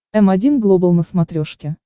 м один глобал на смотрешке